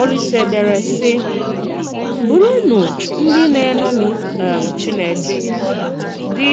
Òlìsè dèré, sị: “Bùrụnụ ndị na-eṅòmì um Chìnékè, dị